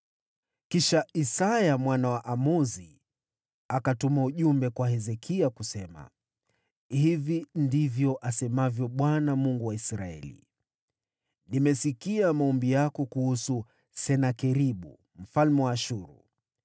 Kisha Isaya mwana wa Amozi akapeleka ujumbe kwa Hezekia, akasema: “Hili ndilo asemalo Bwana , Mungu wa Israeli: Nimesikia maombi yako kuhusu Senakeribu mfalme wa Ashuru.